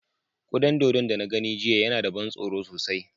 Kuda dodon da na gani jiya yana da ban tsoro sosai.